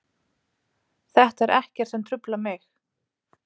Þetta er ekkert sem truflar mig.